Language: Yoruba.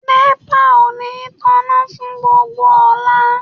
Nepa ò ní tanná fún gbogbo ọ̀la.